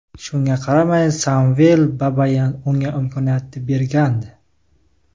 Shunga qaramay Samvel Babayan unga imkoniyat bergandi.